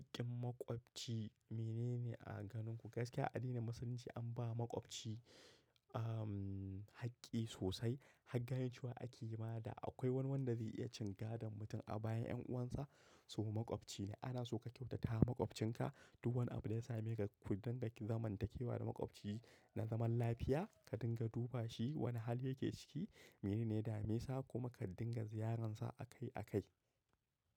Haƙƙin maƙwabci mene ne a ganin ku? Gaskiya addinin Musulunci an ba maƙwabci, umm, haƙƙi sosai. Hangayancewa ake yi ma da akwai wani wanda zai iya cin gadan mutum a bayan 'yan uwansa. So maƙwabci ne. Ana so ka kyautata wa maƙwabcinka. Duba wani abu da ya same ka, ku dinga zaman takewa da maƙwabci na zaman lafiya. Ka dinga duba shi, wane hali yake ciki, mene ne damesa kuma ka dinga ziyaransa akai akai.